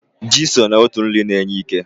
Ji so n'otu nri na-enye ike.